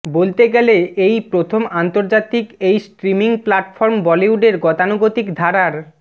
বলতে গেলে এই প্রথম আন্তর্জাতিক এই স্ট্রিমিং প্ল্যাটফর্ম বলিউডের গতানুগতিক ধারার